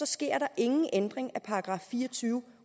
sker der ingen ændring af § fire og tyve